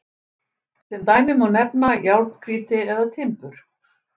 sem dæmi má nefna járngrýti eða timbur